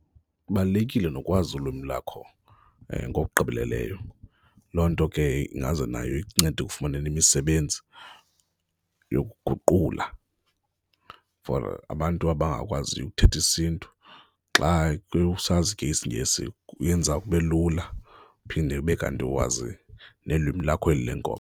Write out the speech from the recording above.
Ibalulekile nokwazi ulwimi lakho ngokugqibeleleyo, loo nto ke ingaze nayo ikuncede ekufumaneni imisebenzi yokuguqula for abantu abangakwaziyo ukuthetha isiNtu xa usazi ke isiNgesi kuyenza kube lula, uphinde ube kanti uwazi nelwimi lakho eli lenkobe.